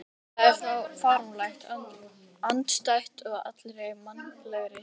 Það væri fáránlegt, andstætt allri mannlegri skynsemi.